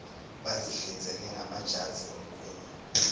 bazihlinzeke ngamajazi omkhwenyana